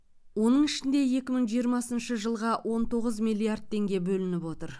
оның ішінде екі мың жиырмасыншы жылға он тоғыз миллиард теңге бөлініп отыр